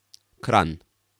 Kranj.